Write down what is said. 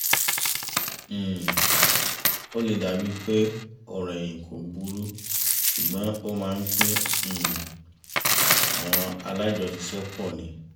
um ó lè dàbí pé ọ̀rọ̀ ẹ̀yìn kò burú ṣùgbọ́n ó máa ń pín um àwọn alájọṣiṣẹ́pọ̀ ni